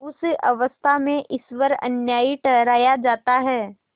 उस अवस्था में ईश्वर अन्यायी ठहराया जाता है